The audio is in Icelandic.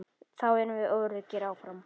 Þá erum við öruggir áfram.